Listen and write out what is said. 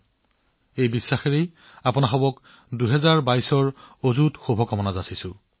এই দৃঢ়বিশ্বাসৰ সৈতে ২০২২ চনত আপোনালোক সকলোলৈ মোৰ শুভেচ্ছা থাকিল